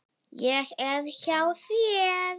Ég er hjá þér.